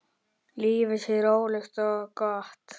Lífið sé rólegt og gott.